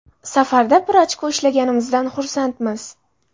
Safarda bir ochko ishlaganimizdan xursandmiz.